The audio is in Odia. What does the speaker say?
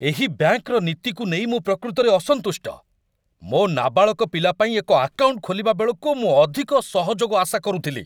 ଏହି ବ୍ୟାଙ୍କର ନୀତିକୁ ନେଇ ମୁଁ ପ୍ରକୃତରେ ଅସନ୍ତୁଷ୍ଟ। ମୋ ନାବାଳକ ପିଲା ପାଇଁ ଏକ ଆକାଉଣ୍ଟ ଖୋଲିବା ବେଳକୁ ମୁଁ ଅଧିକ ସହଯୋଗ ଆଶା କରୁଥିଲି।